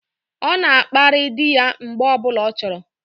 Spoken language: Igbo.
O na akpari di ya mgbe o bula o choro